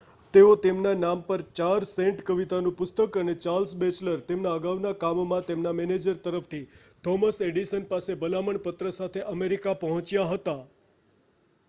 તેઓ તેમના નામ પર 4 સેન્ટ કવિતાનું પુસ્તક અને ચાર્લ્સ બેચલર તેમના અગાઉના કામમાં તેમના મેનેજર તરફથી થોમસ એડિસન પાસે ભલામણપત્ર સાથે અમેરિકા પહોંચ્યા હતા